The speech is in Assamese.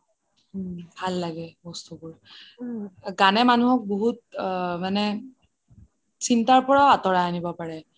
হম ভাল লাগে বস্তুবোৰ গানে মানুহ বহুত মানে চিন্তাৰ পৰা আঁতৰাই আনাব পাৰে